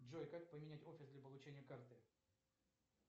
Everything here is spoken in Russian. джой как поменять офис для получения карты